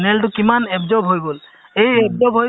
তোমাৰ pressure check কৰে weight check কৰে